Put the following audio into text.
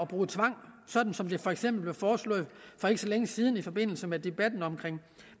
bruge tvang sådan som det for eksempel blev foreslået for ikke så længe siden i forbindelse med debatten om